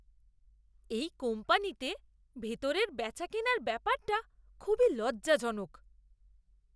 এই কোম্পানিতে ভেতরের বেচাকেনার ব্যাপারটা খুবই লজ্জাজনক।